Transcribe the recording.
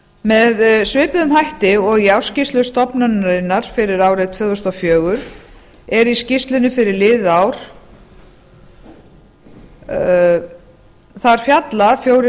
með svipuðum hætti og í ársskýrslu stofnunarinnar fyrir árið tvö þúsund og fjögur er í skýrslunni fyrir liðið ár þar fjalla fjórir